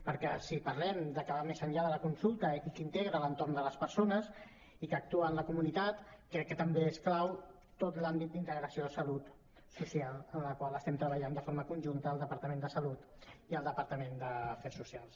perquè si parlem de que va més enllà de la consulta i que integra l’entorn de les persones i que actua en la comunitat crec que també és clau tot l’àmbit d’integració de salut social en la qual estem treballant de forma conjunta el departament de salut i el departament d’afers socials